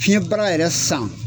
Fiɲɛbara yɛrɛ san